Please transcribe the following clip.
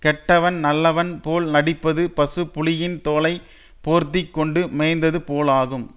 கெட்டவன் நல்லவன் போல நடிப்பது பசு புலியின் தோலை போர்த்தி கொண்டு மேய்ந்தது போலாகும்